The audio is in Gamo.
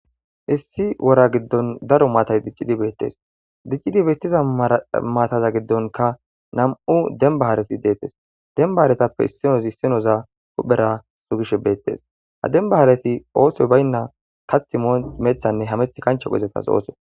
Issi wora giddon daro matay dicid betes, dicid betiza maata gidonka nam'u demba haret detes, demba haretappe issinos issinoza huphera sugishe betes, ha demba haareti oothoy bayna kathi moyin methine hamethi kancheko izetas oothoy